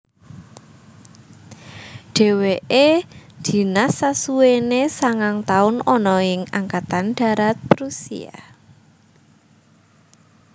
Dheweke dinas sasuwene sangang taun ana ing Angkatan Darat Prusia